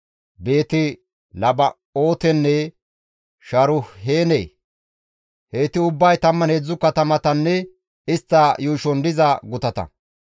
Beeti-Laba7ootenne Sharuheene. Heyti ubbay 13 katamatanne istta yuushon diza gutata.